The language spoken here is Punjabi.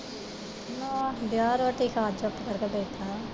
ਨਾ ਗਿਆ ਰੋਟੀ ਖਾ, ਚੁੱਪ ਕਰਕੇ ਬੈਠਾ।